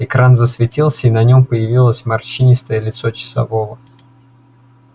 экран засветился и на нем появилось морщинистое лицо часового